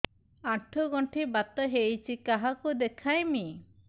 ଆଣ୍ଠୁ ଗଣ୍ଠି ବାତ ହେଇଚି କାହାକୁ ଦେଖାମି